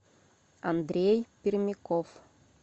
андрей пермяков